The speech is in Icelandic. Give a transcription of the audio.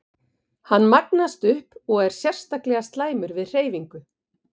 Hann magnast upp og er sérstaklega slæmur við hreyfingu.